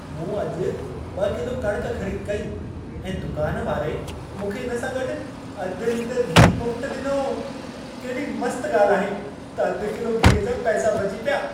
मूं अॼु 2 किलो कणिक ख़रीद कई ऐं दुकान वारे मूंखे इन सां गॾु अधु लीटरु घी मुफ़्त ॾिनो। केॾी मस्त ॻाल्हि आहे त अधि किलो घीअ जा पैसा बची पिया।